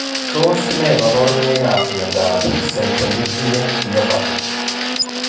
Tos ne kaborunoikap miondop Centronuclear myopathy?